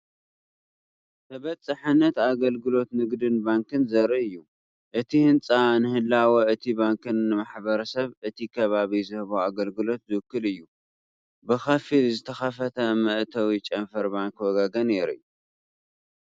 ተበፃሕነት ኣገልግሎት ንግድን ባንክን ዘርኢ እዩ። እቲ ህንጻ ንህላወ እቲ ባንክን ንማሕበረሰብ እቲ ከባቢ ዝህቦ ኣገልግሎትን ዝውክል እዩ። ብኸፊል ዝተኸፍተ መእተዊ ጨንፈር ባንኪ ወጋገን የርኢ።